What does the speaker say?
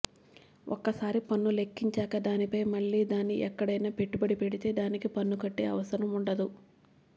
ఒకసారి పన్ను లెక్కించాక దానిపై మళ్ళీ దాన్ని ఎక్కడైనా పెట్టుబడి పెడితే దానికి పన్ను కట్టే అవసరం ఉండదు